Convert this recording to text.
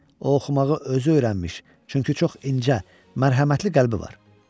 O oxumağı özü öyrənmiş, çünki çox incə, mərhəmətli qəlbi var.